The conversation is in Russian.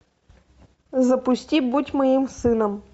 запусти будь моим сыном